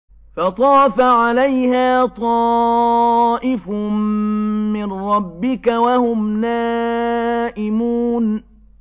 فَطَافَ عَلَيْهَا طَائِفٌ مِّن رَّبِّكَ وَهُمْ نَائِمُونَ